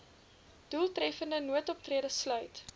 doeltreffende noodoptrede sluit